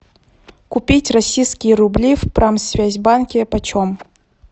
купить российские рубли в промсвязьбанке почем